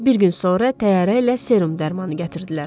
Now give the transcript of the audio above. Bir gün sonra təyyarə ilə serum dərmanı gətirdilər.